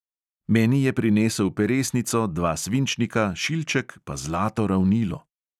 Meni je prinesel peresnico, dva svinčnika, šilček pa zlato ravnilo.